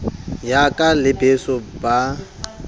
yaka le beso ba a